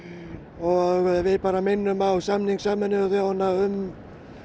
og við bara minnum á samning Sameinuðu þjóðanna um